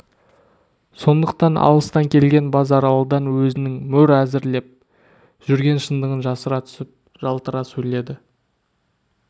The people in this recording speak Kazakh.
сондықтан алыстан келген базаралыдан өзінің мөр әзірлеп жүрген шындығын жасыра түсіп жалтара сөйледі